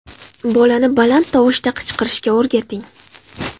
Bolani baland tovushda qichqirishga o‘rgating .